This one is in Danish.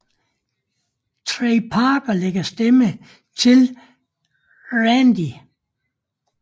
Trey Parker lægger stemme til Randy